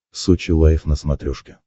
сочи лайф на смотрешке